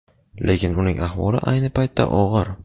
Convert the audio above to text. lekin uning ahvoli ayni paytda og‘ir.